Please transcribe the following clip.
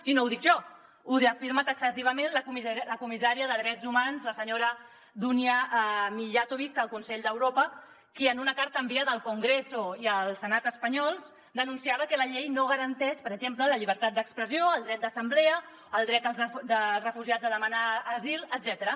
i no ho dic jo ho afirma ta·xativament la comissària de drets humans la senyora dunja mijatovic al consell d’europa que en una carta enviada al congreso i al senat espanyols denunciava que la llei no garanteix per exemple la llibertat d’expressió el dret d’assemblea el dret dels refugiats a demanar asil etcètera